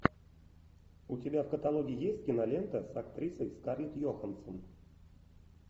у тебя в каталоге есть кинолента с актрисой скарлетт йоханссон